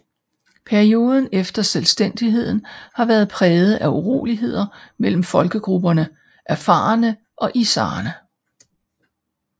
Perioden efter selvstændigheden har været præget af uroligheder mellem folkegrupperne afarene og issaerne